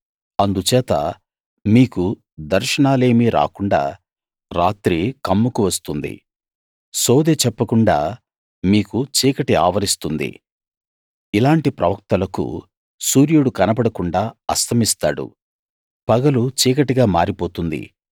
అందుచేత మీకు దర్శనాలేమీ రాకుండా రాత్రి కమ్ముకువస్తుంది సోదె చెప్పకుండా మీకు చీకటి ఆవరిస్తుంది ఇలాంటి ప్రవక్తలకు సూర్యుడు కనబడకుండ అస్తమిస్తాడు పగలు చీకటిగా మారిపోతుంది